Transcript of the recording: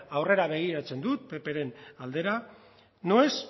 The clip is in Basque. aurrera begiratzen dut ppren aldera no es